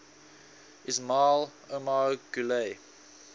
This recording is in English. ismail omar guelleh